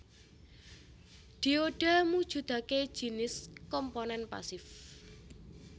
Dioda mujudake jinis komponen pasif